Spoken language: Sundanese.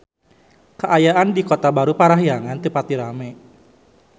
Kaayaan di Kota Baru Parahyangan teu pati rame